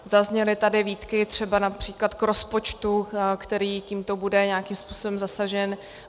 Zazněly tady výtky třeba například k rozpočtu, který tímto bude nějakým způsobem zasažen.